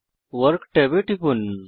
work ট্যাবে টিপুন